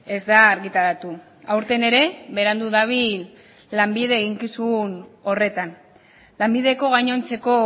ez da argitaratu aurten ere berandu dabil lanbide eginkizun horretan lanbideko gainontzeko